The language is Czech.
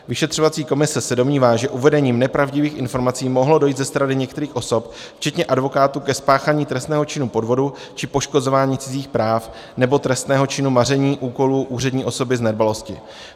Vyšetřovací komise se domnívá, že uvedením nepravdivých informací mohlo dojít ze strany některých osob, včetně advokátů, ke spáchání trestného činu podvodu či poškozování cizích práv nebo trestného činu maření úkolu úřední osoby z nedbalosti.